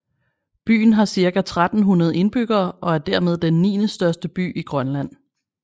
Byen har ca 1300 indbyggere og er dermed den niendestørste by i Grønland